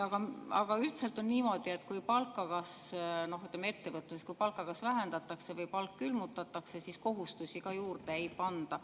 Aga üldiselt on niimoodi, et kui ettevõtetes palka kas vähendatakse või palk külmutatakse, siis kohustusi küll juurde ei panda.